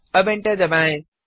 अब एंटर दबाएं